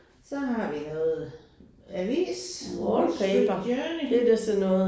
Så har vi noget avis Wallstreet Journey